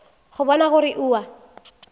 go bona gore o a